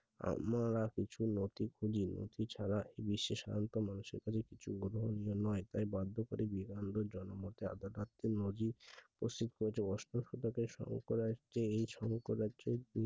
আমরা কিছু নথি খুঁজি। নথি ছাড়া বিশেষণ হলো সাধারণ মানুষের সেখানে কিছু উদাহরণ নয়। তাই বাধ্য করে বিবেকানন্দের জন্ম তে ও অষ্টশতকের এই